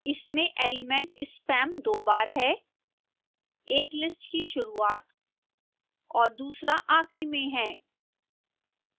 इसमें element spam दो बार है एक list की शुरूआत और दूसरा आखिरी में है